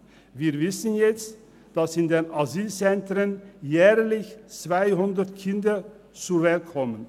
Wir wissen jetzt, dass in den Asylzentren jährlich 200 Kinder zur Welt kommen.